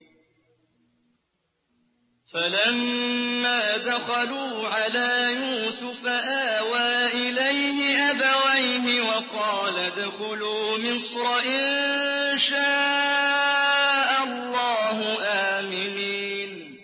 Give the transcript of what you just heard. فَلَمَّا دَخَلُوا عَلَىٰ يُوسُفَ آوَىٰ إِلَيْهِ أَبَوَيْهِ وَقَالَ ادْخُلُوا مِصْرَ إِن شَاءَ اللَّهُ آمِنِينَ